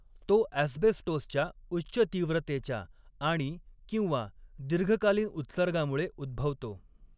तो ॲस्बेस्टोसच्या उच्च तीव्रतेच्या आणि किंवा दीर्घकालीन उत्सर्गामुळे उद्भवतो.